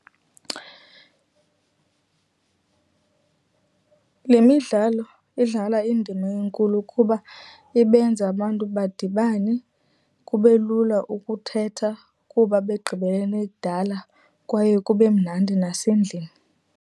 Le midlalo idlala indima enkulu kuba ibenza abantu badibane, kube lula ukuthetha kuba begqibelene kudala kwaye kube mnandi nasendlini.